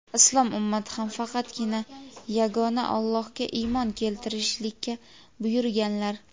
Islom ummati ham faqatgina yagona Allohga iymon keltirishlikka buyurilganlar.